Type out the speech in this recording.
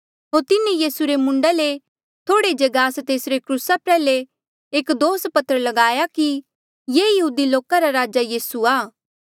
होर तिन्हें यीसू रे मूंडा ले थोड़े जे गास तेसरे क्रूसा प्रयाल्हे एक दोष पत्र लगाया कि ये यहूदी लोका रा राजा यीसू आ